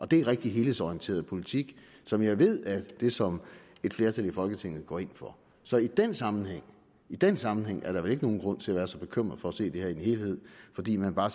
det er rigtig helhedsorienteret politik som jeg ved er det som et flertal i folketinget går ind for så i den sammenhæng den sammenhæng er der vel ikke nogen grund til at være så bekymret for at se det her i en helhed fordi man bare